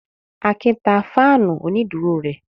Akin ta fáánù onídùúró rẹ̀.